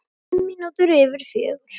Fimm mínútur yfir fjögur.